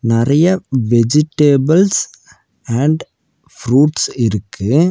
நறைய vegetables and fruits இருக்கு.